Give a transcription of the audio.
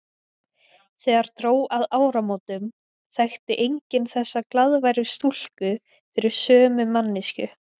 Þegar dró að áramótum þekkti enginn þessa glaðværu stúlku fyrir sömu manneskju.